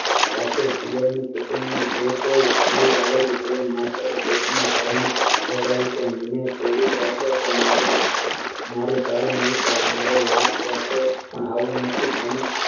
રાત્રે પિયર નું કુટુંબ જે છે એ છોડી આગળ માતા કે પોતાના ભાઈ ને મને તેડી જાસો તો મારુ મારુ સારું નાઈ થાય મારો વાંક હતો આવું નથી